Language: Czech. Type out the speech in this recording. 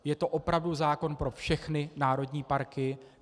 Je to opravdu zákon pro všechny národní parky.